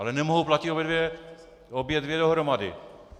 Ale nemohou platit obě dvě dohromady.